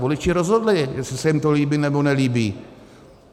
Voliči rozhodli, jestli se jim to líbí, nebo nelíbí.